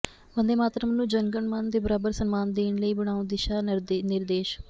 ਵੰਦੇ ਮਾਤਰਮ ਨੂੰ ਜਨ ਗਣ ਮਨ ਦੇ ਬਰਾਬਰ ਸਨਮਾਨ ਦੇਣ ਲਈ ਬਣਾਓ ਦਿਸ਼ਾ ਨਿਰਦੇਸ਼